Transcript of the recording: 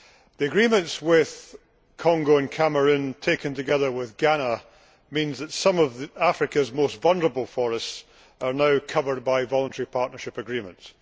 The agreements with Congo and Cameroon, taken together with Ghana, means that some of Africa's most vulnerable forests are now covered by Voluntary Partnership Agreements.